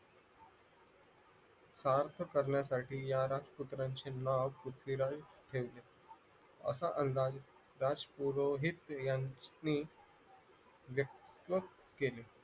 सार्थ करण्यासाठी या राजपुत्रांचे नाव पृथ्वीराज ठेवले असा अंदाज राजपुरोहित यांनी व्यक्त केले